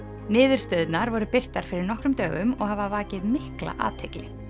niðurstöðurnar voru birtar fyrir nokkrum dögum og hafa vakið mikla athygli